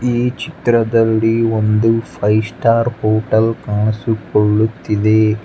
ಈ ಚಿತ್ರದಲ್ಲಿ ಒಂದು ಫೈವ್ ಸ್ಟಾರ್ ಹೋಟೆಲ್ ಕಾಣಿಸಿಕೊಳ್ಳುತ್ತಿದೆ.